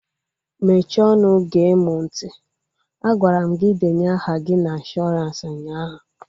Mechie ọnụ gee mụ ntị! Agwara m gị denye aha gị na ịnshọransị ụnyaahụ